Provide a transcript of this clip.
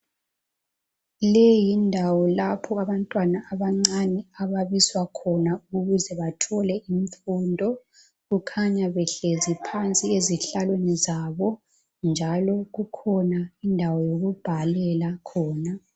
Leyi yindawo lapho abantwana abancane ababiswa khona ukuze bathole imfundo. Kukhanya behlezi phansi ezihlalweni zabo njalo kukhona indawo yokubhalela khona